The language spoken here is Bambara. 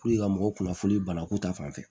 ka mɔgɔw kunnafoni banako ta fanfɛ